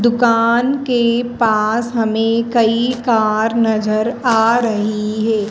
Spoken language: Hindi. दुकान के पास हमें कई कार नजर आ रही है।